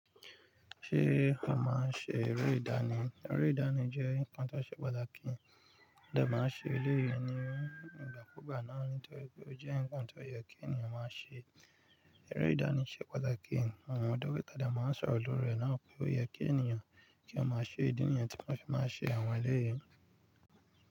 Ṣé a máa ń ṣe eré ìdánì? Eré ìdánì jẹ́ nǹkan tó ṣe pàtàkì. Mọ dè máa ń ṣe eléyìí ní ìgbàkúgbà náà torí pé ó jẹ́ nǹkan tó yẹ kí ènìyàn máa ṣe. Eré ìdánì ṣe pàtàkì. Àwọn ọdọ́ ìta dà máa ń sọ ọ̀lọ̀rọ̀ náà pé ó yẹ kí ènìyàn kí wọ́n máa ṣe ìdí nìyẹn tí wọ́n fi máa ṣe àwọn eléyìí.